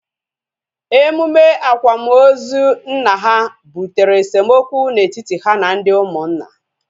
Emume akwamozu nna ha butere esemokwu na etiti ha na ndị ụmụnna